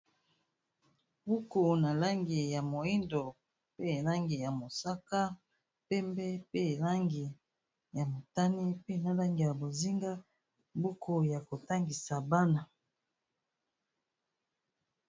Buku na langi ya moyindo, pe langi ya mosaka, pembe, pe langi ya motani, pe na langi ya bozinga, buku ya kotangisa bana.